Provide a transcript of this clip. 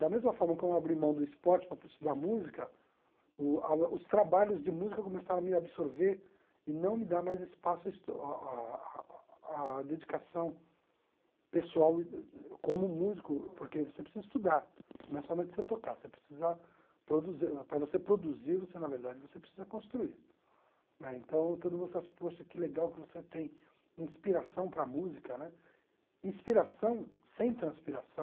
da mesma forma que eu abri mão do esporte para estudar música o a os trabalhos de música começaram a me absorver e não me dar mais espaço a estu a a a a dedicação pessoal como músico porque você precisa estudar não é somente você tocar você precisa produzir para você produzir você na verdade você precisa construir né então todo mundo fala que legal que você tem inspiração para a música né inspiração sem transpiração